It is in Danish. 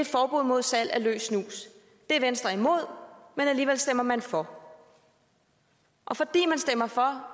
forbud mod salg af løs snus det er venstre men alligevel stemmer man for og fordi man stemmer for